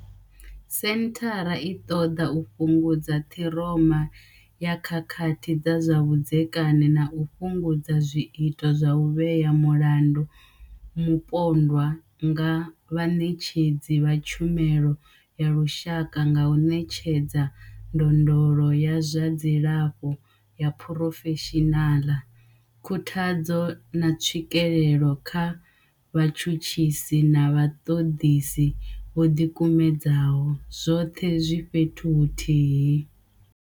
Senthara i ṱoḓa u fhungudza ṱhiroma ya khakhathi dza zwa vhudzekani na u fhungudza zwiito zwa u vhea mulandu mupondwa nga vhaṋetshedzi vha tshumelo ya lushaka nga u ṋetshedza ndondolo ya zwa dzilafho ya phurofeshinala, khuthadzo, na tswikelo kha vhatshutshisi na vhaṱoḓisi vho ḓikumedzaho, zwoṱhe zwi fhethu huthihi.